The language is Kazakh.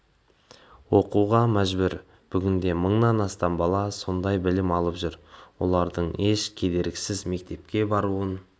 оқуға мәжбүр бүгінде мыңнан астам бала осылай білім алып жүр олардың еш кедергісіз мектепке баруын